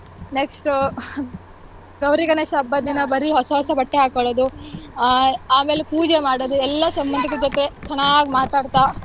Next ಆಹ್ ಗೌರಿ ಗಣೇಶ ಹಬ್ಬ ದಿನ ಬರೀ ಹೊಸ ಹೊಸ ಬಟ್ಟೆ ಹಾಕೊಳೋದು ಆಹ್ ಆಮೇಲ್ ಪೂಜೆ ಮಾಡೋದು ಎಲ್ಲಾ ಸಂಬಂಧದ ಜೊತೆ ಚೆನ್ನಾಗ್ ಮಾತಾಡ್ತಾ